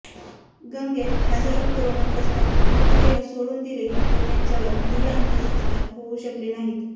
गंगेत हजारो कोरोनाग्रस्तांचे मृतदेह सोडून दिले व त्यांच्यावर धड अंत्यसंस्कार होऊ शकले नाहीत